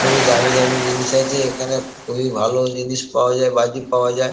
খুবই দামি দামি জিনিস আছে এখানে খুবই ভালো জিনিস পাওয়া যায় বাজি পাওয়া যায়।